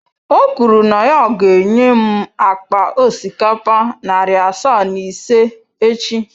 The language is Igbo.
O kwuru na ya ga-enye m akpa osikapa narị asaa na ise echi.